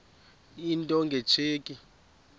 into nge tsheki